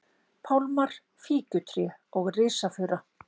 pálmar, fíkjutré og risafura.